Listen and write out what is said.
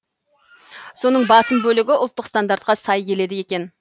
соның басым бөлігі ұлттық стандартқа сай келеді екен